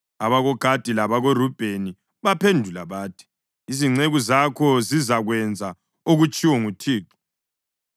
AbakoGadi labakoRubheni baphendula bathi, “Izinceku zakho zizakwenza okutshiwo nguThixo.